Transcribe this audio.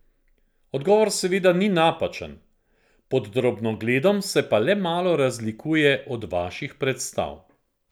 Odgovor seveda ni napačen, pod drobnogledom se pa le malo razlikuje od vaših predstav.